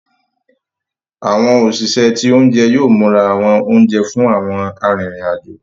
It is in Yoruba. Àwọn òṣìṣẹ́ ti oúnjẹ yóò múra àwọn oúnjẹ fún àwọn arinrin-ajo.